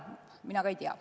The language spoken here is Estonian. Mina ka ei tea.